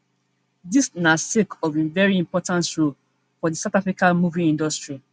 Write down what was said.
dis na sake of of im veri important role for di south africa movie industry